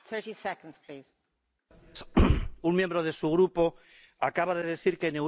Un miembro de su grupo acaba de decir que en Europa hay muchas Daphnes Caruanas.